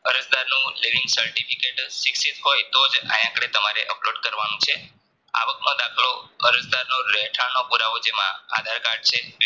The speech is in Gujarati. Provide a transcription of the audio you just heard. અરજ દરનું Living Certificate શિક્ષિત હોય તોજ આયા આગળ તમારે અપલોડ કરવાનું છે. આવકનો દાખલો અરજદારનો રહેઠાણનો પુરાવો જેમાં આધાર card છે.